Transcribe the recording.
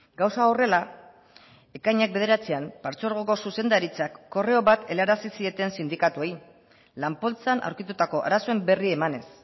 gauza horrela ekainak bederatzian partzuergoko zuzendaritzak korreo bat helarazi zieten sindikatuei lan poltsan aurkitutako arazoen berri emanez